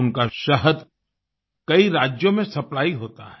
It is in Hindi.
उनका शहद कई राज्यों में सप्लाई होता है